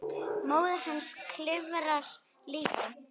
Móðir hans skrifar líka.